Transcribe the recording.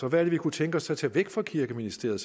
og hvad de kunne tænke sig at tage væk fra kirkeministeriet